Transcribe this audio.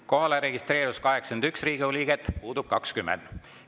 Kohalolijaks registreerus 81 Riigikogu liiget, puudub 20.